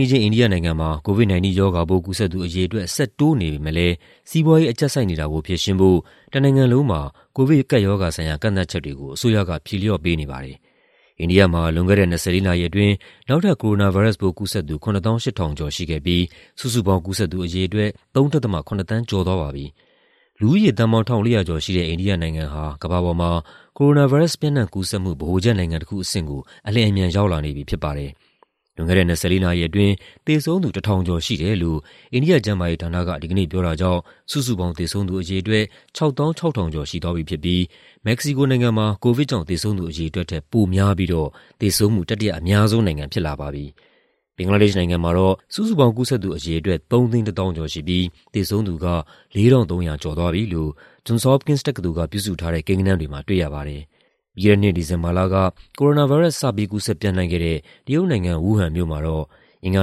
င်းအိန္ဒိယနိုင်ငံမှာ COVID-19 ရောဂါပိုး ကူးစက်သူအရေအတွက် ဆက်တိုးနေပေမယ့်လည်းစီးပွားရေးအကျပ်ဆိုက်နေတာကို ဖြေရှင်းဖို့ တနိုင်ငံလုံးမှာ ကိုဗစ်ကပ်ရောဂါဆိုင်ရာ ကန့်သတ်ချက်တွေကို အစိုးရက ဖြေလေ ျှာ့ပေးနေပါတယ်။ အိန္ဒိယမှာ လွန်ခဲ့တဲ့ ၂၄ နာရီအတွင်း နောက်ထပ် ကိုရိုနာဗိုင်းရပ်စ်ပိုးကူးစက်သူ ၇၈,၀၀၀ ကျော် ၇၈,၃၅၇ ရှိခဲ့ပြီး စုစုပေါင်း ကူးစက်သူအရေအတွက် ၃.၇ သန်းကျော်သွားပါပြီ။ လူဦးရေ သန်းပေါင်း ၁,၄၀၀ ကျော်ရှိတဲ့ အိန္ဒိယနိုင်ငံဟာ ကမ္ဘာပေါ်မှာ ကိုရိုနာဗိုင်းရပ်စ် ပျံ့နှံ့ကူးစက်မှု ဗဟိုချက်နိုင်ငံတခုအဆင့်ကို အလျင်အမြန် ရောက်လာနေပြီဖြစ်ပါတယ်။ လွန်ခဲ့တဲ့ ၂၄ နာရီအတွင်း သေဆုံးသူ ၁,၀၄၅ ရှိတယ်လို့ အိန္ဒိယကျန်းမာရေးဌာနက ဒီကနေ့ပြောတာကြောင့် စုစုပေါင်းသေဆုံးသူအရေအတွက် ၆၆,၃၃၃ ရှိသွားပြီဖြစ်ပြီး မက္ကဆီကိုနိုင်ငံမှာ ကိုဗစ်ကြောင့် သေဆုံးသူအရေအတွက်ထက် ပိုများပြီးတော့ သေဆုံးမှု တတိယအများဆုံးနိုင်ငံဖြစ်လာပါပြီ။ ဘင်္ဂလားဒေ့ရှ်နိုင်ငံမှာတော့ စုစုပေါင်း ကူးစက်သူအရေအတွက် ၃၁၄,၉၄၆ ရှိပြီး သေဆုံးသူက ၄,၃၁၆ သွားပြီလို့ Johns Hopkins တက္ကသိုလ်ကပြုစုထားတဲ့ ကိန်းဂဏန်းတွေမှာ တွေ့ရပါတယ်။ ပြီးခဲ့တဲ့နှစ် ဒီဇင်ဘာလက ကိုရိုနာဗိုင်းရပ်စ် စပြီး ကူးစက်ပျံ့နှံ့ခဲ့တဲ့ တရုတ်နိုင်ငံ၊ ဝူးဟန်မြို့မှာတော့ အင်္ဂါ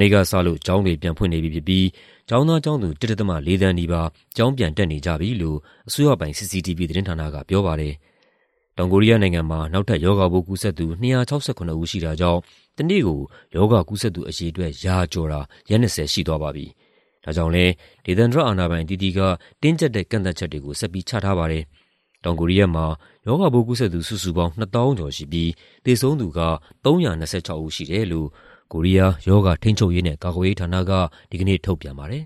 နေ့ကစလို့ ကျောင်းတွေပြန်ဖွင့်နေပြီဖြစ်ပြီး ကျောင်းသားကျောင်းသူ ၁.၄ သန်းနီးပါး ကျောင်းပြန်တက်နေကြပြီလို့ အစိုးရပိုင် CCTV သတင်းဌာနကပြောပါတယ်။ တောင်ကိုရီးယားနိုင်ငံမှာ နောက်ထပ် ရောဂါပိုးကူးစက်သူ ၂၆၇ ဦးရှိတာကြောင့် တနေ့ကို ရောဂါကူးစက်သူအရေအတွက် ရာကျော်တာ ရက် ၂၀ ရှိသွားပါပြီ။ ဒါကြောင့်လည်း ဒေသန္တရ အာဏာပိုင်အသီးသီးက တင်းကြပ်တဲ့ ကန့်သတ်ချက်တွေကို ဆက်ပြီးချထားရပါတယ်။ တောင်ကိုရီးယားမှာ ရောဂါပိုးကူးစက်သူ စုစုပေါင်း ၂၀,၀၀၀ ကျော်ရှိပြီး သေဆုံးသူက ၃၂၆ ဦးရှိတယ်လို့ ကိုရီးယား ရောဂါထိန်းချုပ်ရေးနဲ့ ကာကွယ်ရေးဌာနက ဒီကနေ့ ထုတ်ပြန်ပါတယ်